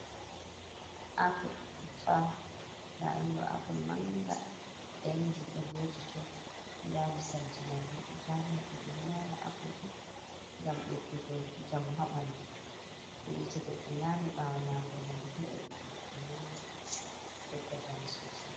apple tffaha laundo apple manga endi bo vojite dali saljimam boddo tarini dumber nyama apple do gam eddugo jamu habandu eita goddo nyami bawo nyamgunandu hedi be nedde nyama bo bedda jamu sosai